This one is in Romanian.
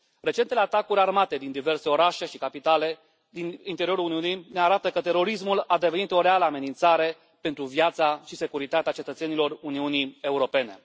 Recentele atacuri armate din diverse orașe și capitale din interiorul Uniunii ne arată că terorismul a devenit o reală amenințare pentru viața și securitatea cetățenilor Uniunii Europene.